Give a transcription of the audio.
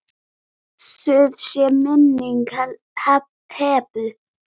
Blessuð sé minning Hebu.